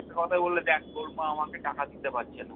একটা কথাই বলবে দেখ তোর মা আমাকে টাকা দিতে পারছে না।